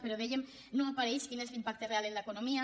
però dèiem que no apareix quin és l’impacte real en l’economia